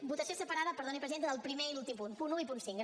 votació separada perdoni presidenta del primer i l’últim punt punt uno i punt cinco